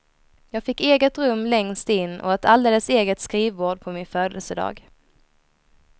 Jag fick eget rum längst in och ett alldeles eget skrivbord på min födelsedag.